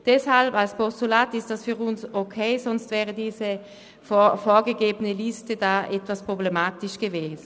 Deshalb ist dieser Vorstoss als Postulat für uns in Ordnung, andernfalls wäre die vorgegebene Liste etwas problematisch gewesen.